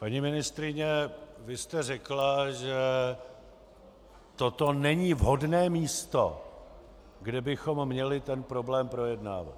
Paní ministryně, vy jste řekla, že toto není vhodné místo, kde bychom měli tento problém projednávat.